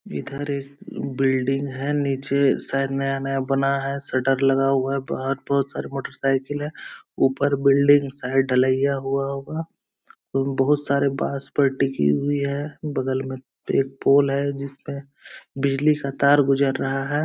इधर ये बिल्डिंग है नीचे शायद नया-नया बना है शटर लगा हुआ है बाहर बोहोत सारे मोटर साइकिल है ऊपर बिल्डिंग शायद ढलाईया हुआ होगा बोहोत सारे बास पर टिकी हुई है बगल मे एक पोल है जिसमे बिजली का तार गुजर रहा है।